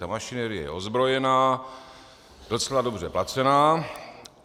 Ta mašinérie je ozbrojená, docela dobře placená.